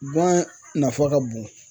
Guwan nafa ka bon